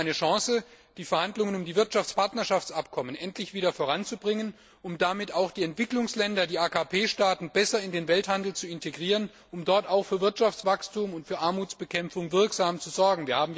Wäre es nicht eine Chance, die Verhandlungen um die Wirtschaftspartnerschaftsabkommen endlich wieder voranzubringen, um damit auch die Entwicklungsländer, die AKP Staaten besser in den Welthandel zu integrieren, um dort wirksam für Wirtschaftswachstum und für Armutsbekämpfung zu sorgen?